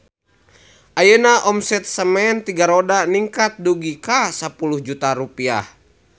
Ayeuna omset Semen Tiga Roda ningkat dugi ka 10 juta rupiah